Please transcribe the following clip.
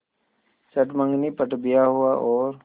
चट मँगनी पट ब्याह हुआ और